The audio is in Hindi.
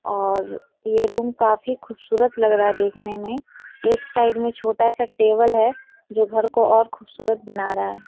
और ये रूम काफी खूबसूरत लग रहा है देखने में। एक साइड में छोटा सा टेबल है जो घर को और खूबसूरत बना रहा है।